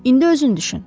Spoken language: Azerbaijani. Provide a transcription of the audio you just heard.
İndi özün düşün.